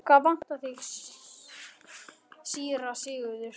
Hvað vantar þig, síra Sigurður?